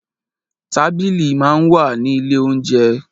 Tábìlì máa ń wà ní ilé óunjẹ.